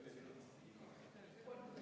Protseduuriline.